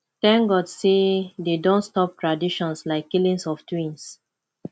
thank god say dey don stop traditions like killing of twins